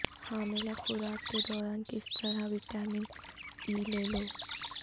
حاملہ خوراک کے دوران کس طرح وٹامن ای لے لو